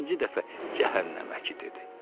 İkinci dəfə cəhənnəməki dedi.